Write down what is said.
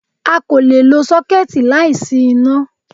A kò lè lo sọ́kẹ́ẹ̀tì láìsí iná